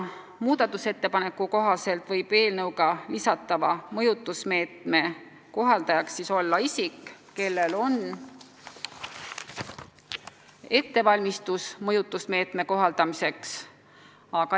Muudatusettepaneku kohaselt võib eelnõuga lisatava mõjutusmeetme kohaldajaks olla isik, kellel on ettevalmistus mõjutusmeetme kohaldamiseks.